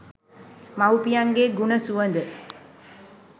මවුපියන්ගේ ගුණ සුවඳ